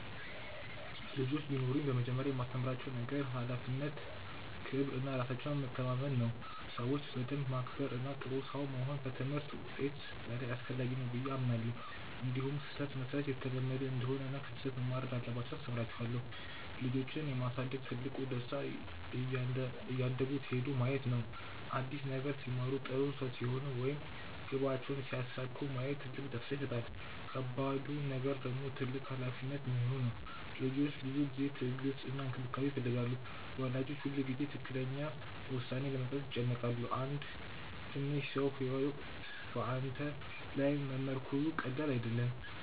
ልጆች ቢኖሩኝ በመጀመሪያ የማስተምራቸው ነገር ክብር፣ ሀላፊነት እና ራሳቸውን መታመን ነው። ሰዎችን በደንብ ማክበር እና ጥሩ ሰው መሆን ከትምህርት ውጤት በላይ አስፈላጊ ነው ብዬ አምናለሁ። እንዲሁም ስህተት መሥራት የተለመደ እንደሆነ እና ከስህተት መማር እንዳለባቸው አስተምራቸዋለሁ። ልጆችን የማሳደግ ትልቁ ደስታ እያደጉ ሲሄዱ ማየት ነው። አዲስ ነገር ሲማሩ፣ ጥሩ ሰው ሲሆኑ ወይም ግባቸውን ሲያሳኩ ማየት ትልቅ ደስታ ይሰጣል። ከባዱ ነገር ደግሞ ትልቅ ሀላፊነት መሆኑ ነው። ልጆች ብዙ ጊዜ፣ ትዕግስት እና እንክብካቤ ይፈልጋሉ። ወላጆች ሁልጊዜ ትክክለኛ ውሳኔ ለመስጠት ይጨነቃሉ። አንድ ትንሽ ሰው ሕይወት በአንተ ላይ መመርኮዙ ቀላል አይደለም።